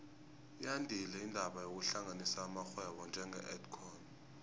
yandile indaba yokuhlanganisa amarhwebo njenge edcon